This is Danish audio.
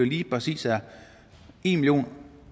lige præcis er en million